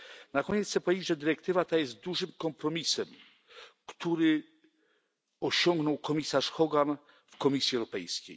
Na koniec chcę powiedzieć, że dyrektywa ta jest dużym kompromisem, który osiągnął komisarz Hogan w Komisji Europejskiej.